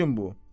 Niyəçin bu?